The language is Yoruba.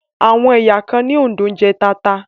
Àwọn ẹ̀yà kan ní Òǹdó ń jẹ tata